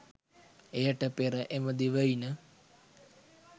එයට පෙර එම දිවයින